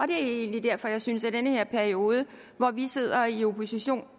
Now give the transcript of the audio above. det er egentlig derfor jeg synes at den her periode hvor vi sidder i opposition